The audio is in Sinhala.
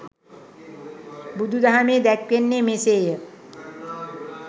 බුදුදහමේ දැක්වෙන්නේ මෙසේය.